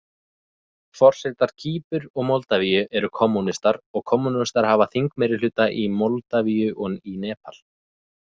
Forsetar Kýpur og Moldavíu eru kommúnistar, og kommúnistar hafa þingmeirihluta í Moldavíu og í Nepal.